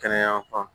Kɛnɛya fan